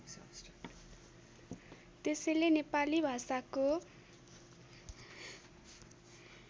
त्यसैले नेपाली भाषाको